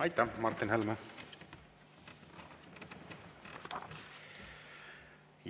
Aitäh, Martin Helme!